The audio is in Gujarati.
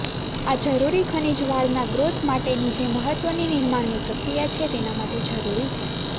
આ જરૂરી ખનીજ વાળના ગ્રોથ માટેની જે મહત્ત્વની નિર્માણની પ્રક્રિયા છે તેના માટે જરૂરી છે